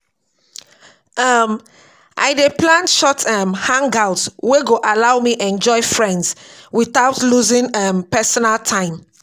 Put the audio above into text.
um I dey plan short um hangouts wey go allow me enjoy friends without losing um personal time.